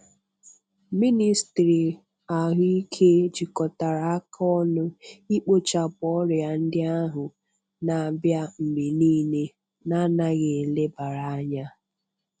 MỊNÎSTỊRỊ AHỤIKE JIKOTARA AKA ỌNỤ IKPỌCHAPỤ ORIA NDI AHU NA-ABIA MGBE NIILE NA ANAGHI ElEBARA ANYA.